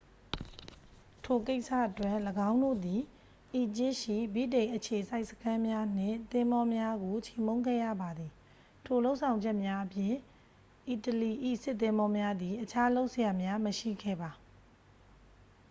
ထိုကိစ္စအတွက် ၎င်းတို့သည် အီဂျစ်ရှိ ဗြိတိန်အခြေစိုက်စခန်းများနှင့် သင်္ဘောများကို ချေမှုန်းခဲ့ရပါသည် ထိုလုပ်ဆောင်ချက်များအပြင် အီတလီ၏စစ်သင်္ဘောများသည် အခြားလုပ်စရာများ မရှိခဲ့ပါ